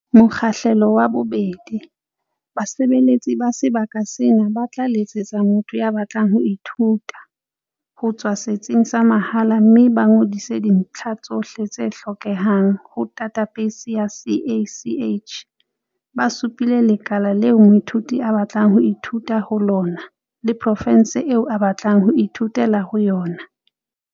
Mokgahlelo wa 2. Basebeletsi ba sebaka sena ba tla letsetsa motho ya batlang ho ithuta. ho tswa setsing sa mehala mme ba ngodise dintlha tsohle tse hlokehang ho dathabeisi ya CACH. ba supile lekala leo moithuti a batlang ho ithuta ho lona le profense eo a batlang ho ithutela ho yona.